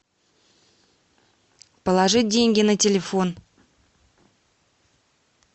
положить деньги на телефон